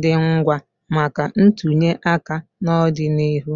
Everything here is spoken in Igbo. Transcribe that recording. dị ngwa maka ntụnye aka n'ọdịnihu.